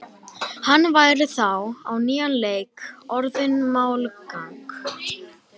Hann væri þá á nýjan leik orðinn málgagn.